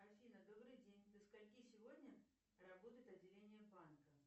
афина добрый день до скольки сегодня работает отделение банка